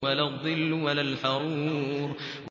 وَلَا الظِّلُّ وَلَا الْحَرُورُ